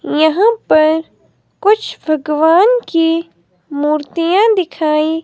यहां पर कुछ भगवान की मूर्तियां दिखाई--